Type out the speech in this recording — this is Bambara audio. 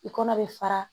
I kɔnɔ bɛ fara